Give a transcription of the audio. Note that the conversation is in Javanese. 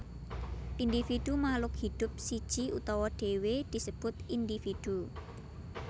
Individu Makhluk hidup siji utawa dhewe disebut individu